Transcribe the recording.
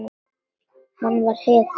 Hann var hetjan.